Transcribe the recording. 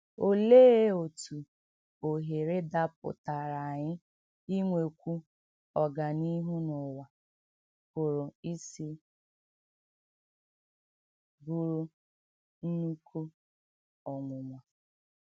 Òlee òtú òhèrè dàpụ̀tàrà ànyị ínwèkwù ọ̀gánìhù n’ùwà pụrụ ísì bùrù ńnụ́kù ọnwụ̀nwà?